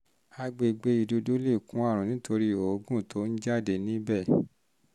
àgbègbè ìdodo lè kó àrùn nítorí òógùn tó ń jáde níbẹ̀